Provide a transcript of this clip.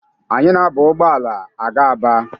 Anyị na-aba ụgbọala aga Aba.